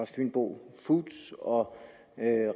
fynbo foods og